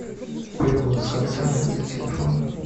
перевод с карты на номер телефона